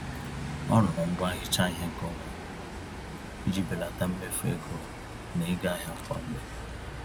Ọ rụrụ ngwá nhicha-ihe nke onwe ya, iji belata mmefu ego na ịga ahịa kwa mgbè